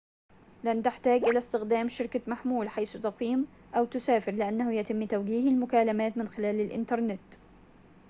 لن تحتاج إلى استخدام شركة محمول حيث تقيم أو تسافر لأنه يتم توجيه المكالمات من خلال الإنترنت